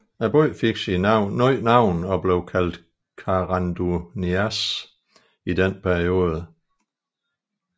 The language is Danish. Byen fik nyt navn og blev kaldt Karanduniasj i denne periode